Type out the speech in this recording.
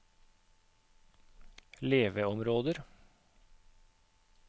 leveområder